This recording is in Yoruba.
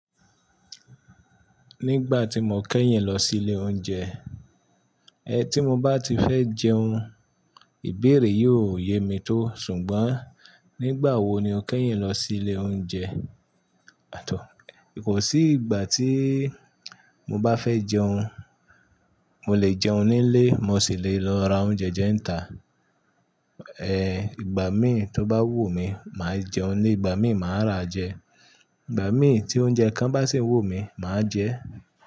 Nígbà tí mo kẹ́yìn lọ sí ilé oúnjẹ, ẹ tí mo bá ti fẹ́ jẹun, ìbéèrè yóò yẹ mí tó. Ṣùgbọ́n nígbà wo ni o kẹ́yìn lọ sí ilé oúnjẹ? Àtọ̀, kò sí ìgbà tí mo bá fẹ́ jẹun. Mo lè jẹun ní ilé, mo sì lè lọ ra oúnjẹ jẹun ta. Ìgbà mí tó bá wù mí, màá jẹun ní, ìgbà mí màá ra jẹ. Ìgbà mí tí oúnjẹ kan bá sì ń wù mí, màá jẹ ẹ́.